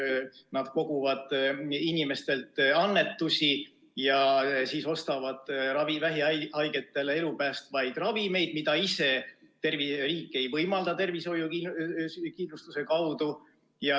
Nad koguvad inimestelt annetusi ja ostavad vähihaigetele elu päästvaid ravimeid, mida riik ei võimalda tervishoiukindlustuse kaudu hankida.